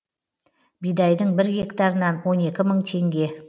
бидайдың бір гектарынан он екі мың теңге